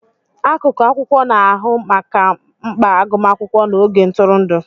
Akụkụ akwụkwọ na-ahụ maka mkpa agụmakwụkwọ na oge ntụrụndụ.